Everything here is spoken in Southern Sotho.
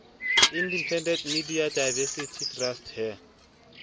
independent media diversity trust ha